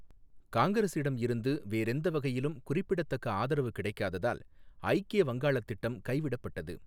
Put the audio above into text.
காங்கிரஸிடமிருந்து வேறெந்த வகையிலும் குறிப்பிடத்தக்க ஆதரவு கிடைக்காததால் ஐக்கிய வங்காளத் திட்டம் கைவிடப்பட்டது